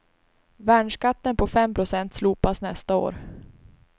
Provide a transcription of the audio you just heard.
Värnskatten på fem procent slopas nästa år.